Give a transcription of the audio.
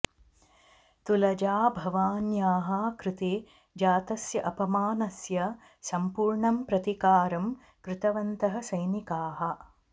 तुलजाभवान्याः कृते जातस्य अपमानस्य सम्पूर्णं प्रतीकारं कृतवन्तः सैनिकाः